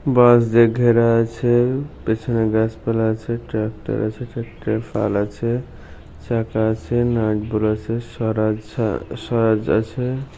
বাঁশ দিয়ে ঘেরা আছে। পেছনে গাছপালা আছে। ট্রাক্টর আছে। ট্রাক্টরের ফাল আছে । চাকা আছে। নাট বোর আছে। স্বরাজ সা স্বরাজ আছে-এ।